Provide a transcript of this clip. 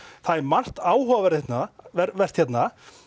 það er margt áhugavert hérna hérna